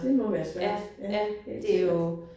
Det må være svært. Ja helt sikkert